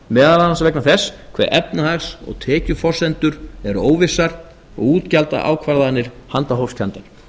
meðal annars vegna þess hve efnahags og tekjuforsendur eru óvissar og útgjaldaákvarðanir handahófskenndar